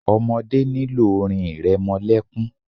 Ọmọdé nílò orin ìrẹmọlẹ́kún.